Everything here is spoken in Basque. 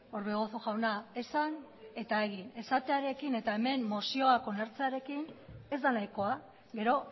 orbegozo jauna esan eta egin esatearekin eta hemen mozioak onartzearekin ez da nahikoa gero